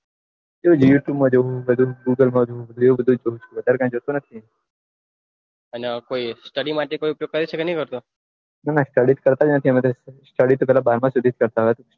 એ બીએસી રીલ જઈને ગુગલ મારું વઘાર કઈ જતો નથી અને કોઈ study માટે કોઈ ની કરતો ના study કરતો નથી study પેલા કરતા